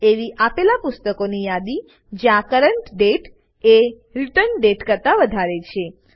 એવી આપેલા પુસ્તકોની યાદી જ્યાં કરન્ટ દાતે કરંટ ડેટ એ રિટર્ન દાતે રીટર્ન ડેટ કરતા વધારે છે